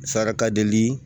Saraka deli